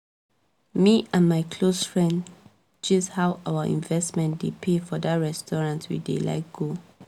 me and my close friend gist how our investments dey pay for that restaurant we dey like go